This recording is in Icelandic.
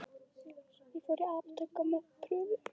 Ég fór í apótek með prufu.